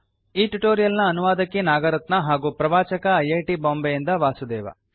ಈ ಟ್ಯುಟೋರಿಯಲ್ ನ ಅನುವಾದಕಿ ನಾಗರತ್ನಾ ಹಾಗೂ ಪ್ರವಾಚಕ ಐ ಐ ಟಿ ಬಾಂಬೆ ಇಂದ ವಾಸುದೇವ